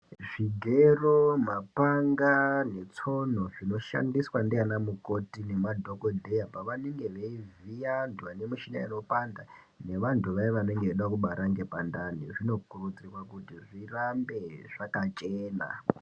Zvigero, mapanga netsono zvinoshandiswa ndiana mukoti nemadhokodheya pavanenge veivhiya vantu vane mishuna inopanda ngevantu vaya vanenge veida kubara ngepandani zvinokurudzirwa kuti zvirambe zvakachena.